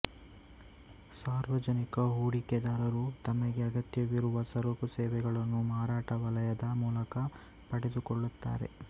ಸಾರ್ವಜನಿಕ ಹೂಡಿಕೆದಾರರು ತಮಗೆ ಅಗತ್ಯವಿರುವ ಸರಕುಸೇವೆಗಳನ್ನು ಮಾರಾಟ ವಲಯದ ಮೂಲಕ ಪಡೆದುಕೊಳ್ಳುತ್ತಾರೆ